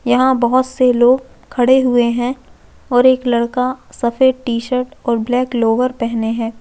यहाँ बहोत से लोग खड़े हुए है और एक लड़का सफ़ेद टी शर्ट और ब्लैक लोअर पहने हुए है।